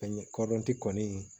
kɔrɔti kɔni